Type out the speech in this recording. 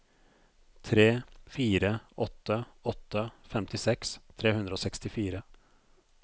tre fire åtte åtte femtiseks tre hundre og sekstifire